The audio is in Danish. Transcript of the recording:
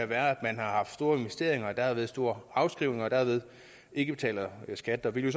være at man har haft store investeringer og derved store afskrivninger og derved ikke betaler skat vi vil